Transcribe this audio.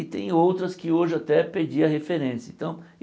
E tem outras que hoje até perdi a referência. Então